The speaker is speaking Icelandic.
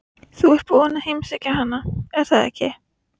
Þú ert búinn að heimsækja hana, er það ekki?